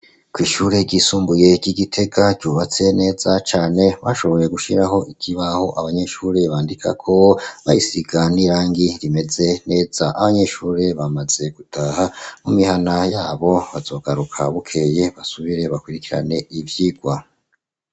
Kw'ishure ryisumbuye ry'igitega ryubatse neza cane, bashoboye gushiraho ikibaho abanyeshuri bandikako, bagisiga n'irangi rimeze neza ,abanyeshuri bamaze gutaha mumihana yabo bazogaruka bukeye basubire bakurikirane ivyigwa.